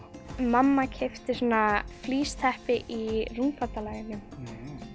mamma keypti svona flísteppi í Rúmfatalagernum